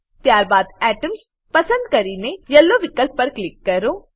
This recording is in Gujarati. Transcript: ત્યારબાદ એટમ્સ પસંદ કરીને યેલો વિકલ્પ પર ક્લિક કરો